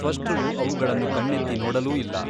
ತ್ವಷ್ಟೃವು ಅವುಗಳನ್ನು ಕಣ್ಣೆತ್ತಿ ನೋಡಲೂ ಇಲ್ಲ.